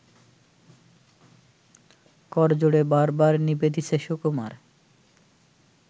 করজোড়ে বারবার নিবেদিছে সুকুমার